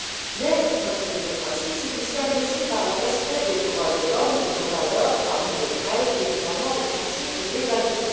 Mais notre démocratie se distingue aussi par le respect des droits de l'homme, de nos valeurs, parmi lesquelles, évidemment, le principe de l'égalité.